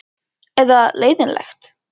Eða leiðinlegt?